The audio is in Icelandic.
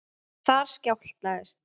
En þar skjátlaðist